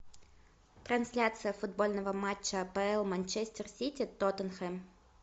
трансляция футбольного матча апл манчестер сити тоттенхэм